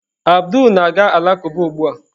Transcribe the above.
Abdul na-aga alakụba ugbu a.